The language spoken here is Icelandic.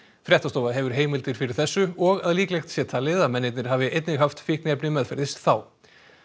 fréttastofa hefur heimildir fyrir þessu og að líklegt sé talið að mennirnir hafi einnig haft fíkniefni meðferðis þá